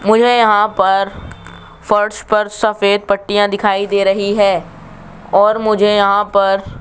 मुझे यहां पर फर्श पर सफेद पट्टियां दिखाई दे रही है और मुझे यहां पर --